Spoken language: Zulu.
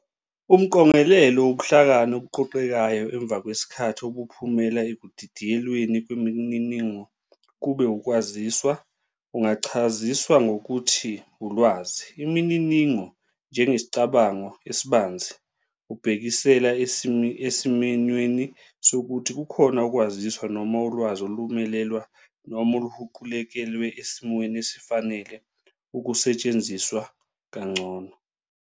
Umqongelelo wobuhlakani obuqoqekayo emva kwesikhathi obuphumela ekudidiyelweni kwemininingo kube ukwaziswa, ungachaziswa ngokuthi ulwazi. Imininingo, njengesicabango esibanzi, ubhekisela esiminyweni sokuthi kukhona ukwaziswa noma ulwazi olumelelwa noma oluhuqukezelwe esimweni esifanele ukusetshenziswa kangcono.